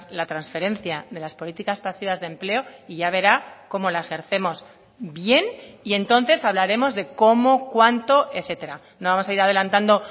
la transferencia de las políticas pasivas de empleo y ya verá cómo la ejercemos bien y entonces hablaremos de cómo cuánto etcétera no vamos a ir adelantando